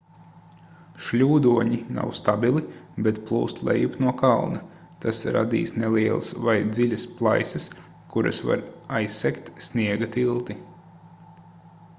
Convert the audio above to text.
šļūdoņi nav stabili bet plūst lejup no kalna tas radīs nelielas vai dziļas plaisas kuras var aizsegt sniega tilti